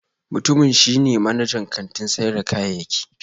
Mutumin shi ne manajan kantin sayar da kayayyaki